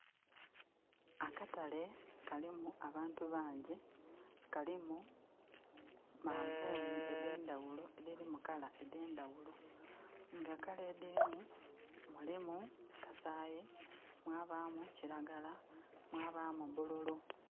Akatale kalimu abantu bangyi, kalimu manvuuni endhendaghulo edhiri mu color endhendaghulo. Nga colour edhilimu, mulimu kasaayi, mwabaamu kiragala, mwabaamu bululu.